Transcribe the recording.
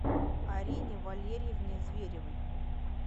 арине валерьевне зверевой